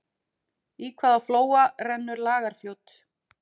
Í hvaða flóa rennur Lagarfljót?